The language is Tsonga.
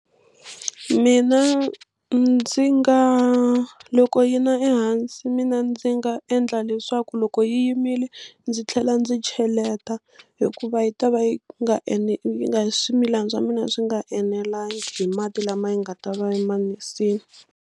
Mina ndzi nga loko yi na ehansi mina ndzi nga endla leswaku loko yi yimile ndzi tlhela ndzi cheleta hikuva yi ta va yi nga yi nga swimilani swa mina swi nga enelangi hi mati lama hi nga ta va yi ma nisile.